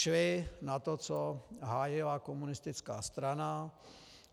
Šli na to, co hájila komunistická strana.